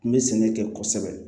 N bɛ sɛnɛ kɛ kosɛbɛ